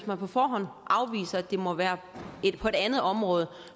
man på forhånd afviser at det må være på et andet område